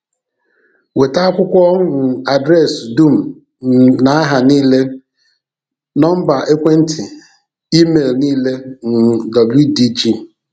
Weta akwụkwọ um adreesị dum um na aha niile, nọmba ekwentị, email niile um wdg.